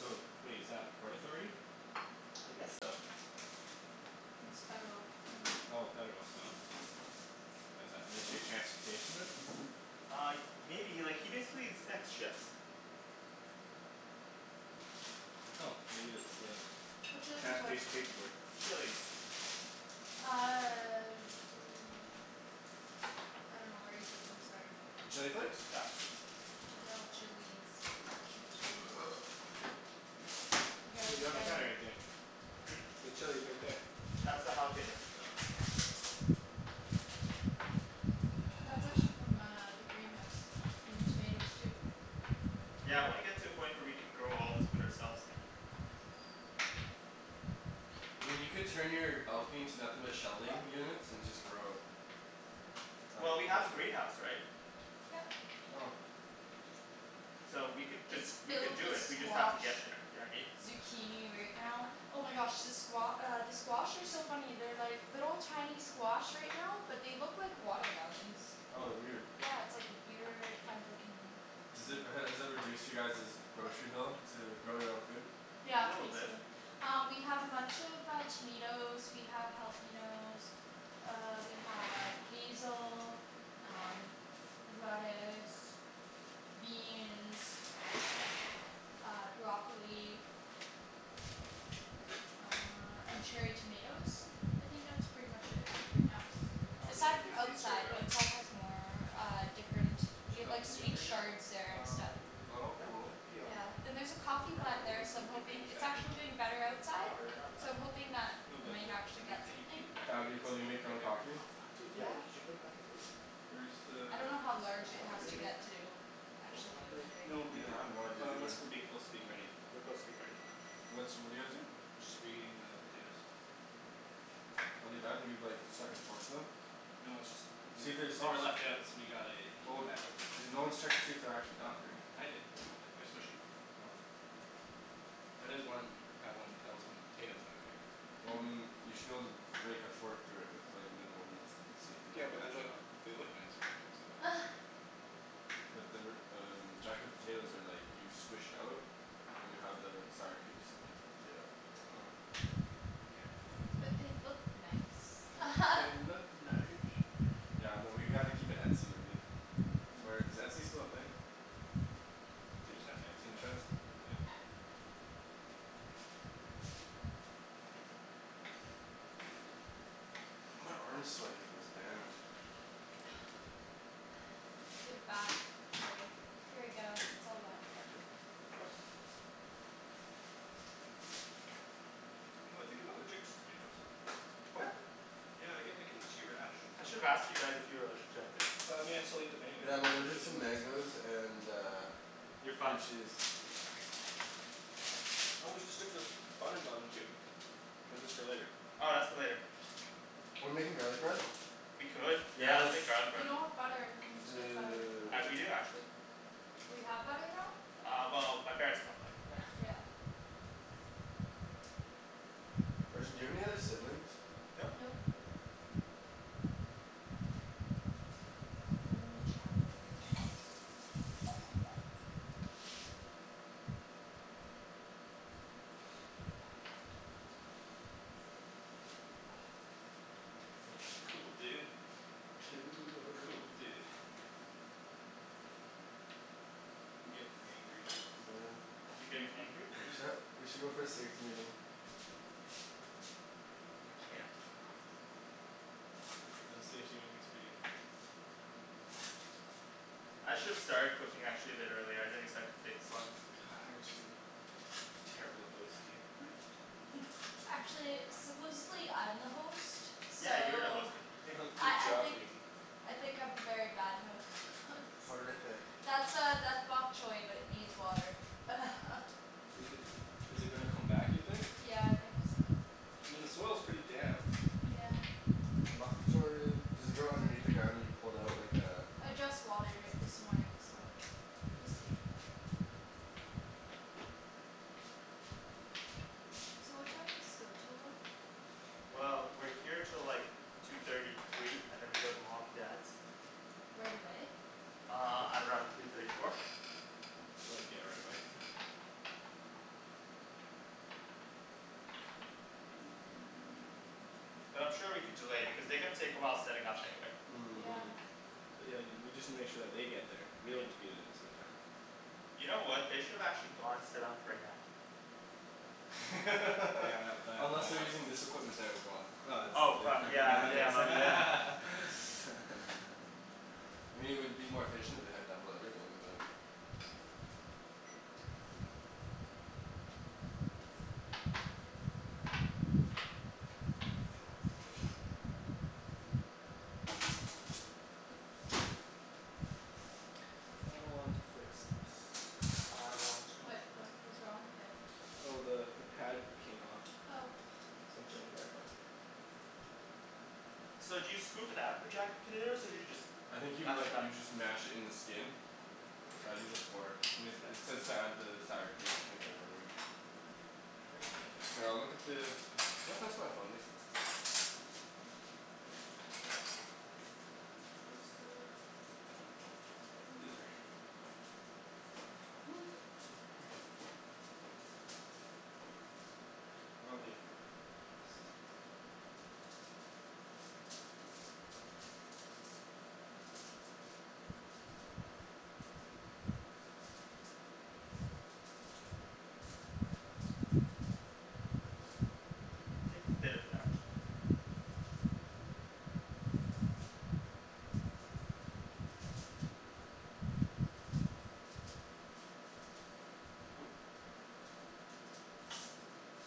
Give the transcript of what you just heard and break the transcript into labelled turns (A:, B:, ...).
A: So, wait, is that Port Authority?
B: I guess so.
C: It's federal uh
A: Oh, federal, so What is that, Ministry of Transportation then?
B: Uh y- maybe, like he basically inspects ships.
A: Oh, maybe it's the
C: Whatcha lookin' for?
A: Transportation Safety Board.
B: Chilis.
C: Uh I dunno where you put them, sorry.
D: The chili flakes?
B: Got it.
D: Oh.
C: No, chilis. Actual chilis. You guys
A: There you
C: we
A: go, on the
C: gotta
A: counter right there.
B: Hmm?
A: The chili's right there.
B: That's a jalapeno.
A: Oh.
C: That's actually from uh the greenhouse. And the tomatoes too.
B: Yeah, I
A: Cool.
B: wanna get to a point where we can grow all this food ourselves.
D: I mean you could turn your balcony into nothing but shelving units and just grow. Like
B: Well, we have a
D: Bushwick.
B: greenhouse, right?
C: Yep.
D: Oh.
B: So we could just,
C: It's
B: we could
C: filled
B: do
C: with
B: it, we just have to
C: squash.
B: get there, you know what I mean?
C: Zucchini right now. Oh my gosh the squa- uh the squash are so funny. They're like little tiny squash right now but they look like watermelons.
D: Oh weird.
C: Yeah it's like weird kind of looking
D: Does it, has it reduced you guys's grocery bill, to grow your own food?
B: A
C: Yeah,
B: little bit.
C: basically. Um we have a bunch of uh tomatoes, we have jalapenos uh we have basil, um lettuce beans uh, broccoli uh and cherry tomatoes? I think that's pretty much it right now.
B: Oh, we should
C: Aside
D: Interesting.
B: have
C: from
B: used these cherry
C: outside. Outside has more uh different. We
A: Should that
C: have like
A: oven be on
C: sweet
A: right now?
C: chards there and stuff.
B: Um,
D: Oh
B: no,
D: cool.
B: that can be off.
C: Yeah. And there's a coffee
A: Or are are
C: plant there
A: are
C: so I'm
A: aren't we putting
C: hoping.
A: these
C: It's
A: back in the
C: actually
A: oven?
C: doing better
B: No,
C: outside.
B: are you not
C: So
B: done?
C: I'm hoping that
A: No
C: we
A: but
C: might
A: they're
C: actually
A: we
C: get
A: have to heat
C: something.
A: heat them back up.
D: That'd
A: They've
D: be
A: been
D: cool, do you
A: sitting out
D: make
A: for
D: your own
A: like ever.
D: coffee?
B: Oh, fuck dude, yeah,
C: Yeah.
B: y- could you put them back in please?
A: Where's the
C: I dunno how
B: Just
C: large it has
B: uh
C: to
A: temperature?
C: get to
B: Four
C: actually do
B: hundred.
C: anything
A: No
C: though.
A: make
D: Yeah,
A: it,
D: I have no idea
A: unless
D: either.
A: we're being closer to being ready.
B: We're close to being ready.
A: Okay.
D: What's, what're you guys doing?
A: Just reheating the potatoes.
D: Are they done? Have you like stuck and forked them?
A: No it's just, they
D: See if they're
A: they were
D: soft.
A: left out so we gotta heat
D: Well
A: them
D: y-
A: back up.
D: you're, no one's checked to see if they're actually done, right?
A: I did. They're they're they're smushy.
D: Oh.
A: That is one, how one tells when a potato's done right?
D: Well
C: Hmm.
D: I mean, you should be able to rake a fork through it with like minimal resistance so you can
A: Yeah
D: like
A: but they're
D: mash it
A: like,
D: up.
A: they look nice right now so I don't want to do that.
D: But they were um, jacket potatoes are like you squish it out and you have the sour cream seep into the potato.
A: Oh. K, well then, we'll
C: But they look nice.
D: But they look nice. Yeah, no, we gotta keep it etsy-worthy. Or is Etsy still a thing?
A: They just had an Etsy
D: Pinterest?
A: national. Yeah.
D: My arm's sweaty from this band.
C: Give it back. It's like "Here you go,
A: Hey
C: it's
A: I'm
C: all
A: gonna
C: wet."
A: steal one. You know, I think I'm allergic to tomatoes.
B: What?
A: Yeah I get like an itchy rash
B: I should've
A: sometimes.
B: asked you guys if you were allergic to anything.
A: But I mean I still eat them anyways
D: Yeah, I'm
A: cuz they're so
D: allergic to
A: delicious.
D: mangoes and uh
B: You're
D: cream
B: fucked.
D: cheese.
A: Oh we should stick this bun in the oven too. Or is this for later?
B: Oh, that's for later.
D: We're making garlic bread?
B: We could. Yeah, let's
D: Yes!
B: make garlic
C: We
B: bread.
C: don't have butter. We need to get butter.
B: I d- we
D: Dude.
B: do actually.
C: We have butter now?
B: Uh well my parents bought butter.
C: Yeah.
D: Arjan, do you have any other siblings?
B: Nope.
C: Nope. Only child.
A: Mm.
B: Cool, dude.
D: Cool.
B: Cool, dude.
A: I'm gettin' hangry
B: You're getting hangry?
D: We should go for a safety meeting.
A: We can't. No safety meetings for you.
B: I should've started cooking actually a bit earlier, I didn't expect to take this long.
A: God, Arjan. Terrible host, you
C: Actually, supposedly I'm the host,
B: Yeah, you're the host
C: so
B: Nikki
C: I
A: Good
C: I
A: job,
C: think
A: Nikki.
C: I think I'm a very bad host
D: Horrific.
C: That's uh that's bok choi but it needs water
A: Is it is it gonna come back you think?
C: Yeah, I think so.
A: I mean the soil's pretty damp.
C: Yeah.
D: Bok choi. Does it grow underneath the ground and you pull it out like uh
C: I just watered it this morning so we'll see. So what time does this go 'til then?
B: Well, we're here till like two thirty, three, and then we go to mom and dad's.
C: Right away?
B: Uh, at around three thirty, four.
A: So like, yeah, right away
B: But I'm sure we could delay because they're gonna take a while setting up anyway.
C: Yeah.
A: But yeah, y- we just need to make sure that they get there. We
B: Yeah.
A: don't need to be there at the same time.
B: You know what, they should've actually gone set up right now.
A: Yeah, tha- that
D: Unless they're
A: that.
D: using this equipment there as well.
B: Oh,
A: Oh it's
B: fuck,
A: du-
B: yeah
A: that
B: yeah
A: makes
B: my b- yeah.
D: I mean it would be more efficient if they had double everything, but
A: I want to fix this.
B: I want to
C: What
B: fill
C: what was
B: the
C: wrong with it?
A: Oh the the pad came off.
C: Oh
A: So I'm putting it back on.
B: So do you scoop it out for jacket potatoes or do you just
D: I think you m-
B: mash it
D: like
B: up?
D: you just mash it in the skin.
A: Here
D: I'd
A: you
D: use
A: go.
D: a fork. It
B: Mkay.
D: says to add the sour cream I think I remember.
A: Try using a knife.
D: Here, I'll look at the, can you pass my phone Nikki?
A: Twist it. Ooh, these are hot.
B: Mhm
A: Hmm. Probably a fork would be best.
B: Take a bit of it out.
A: Oop-